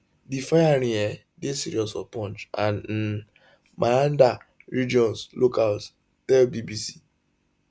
di firing um dey serious for poonch and um mehandar regions locals tell bbc